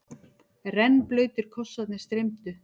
Rennblautir kossarnir streymdu.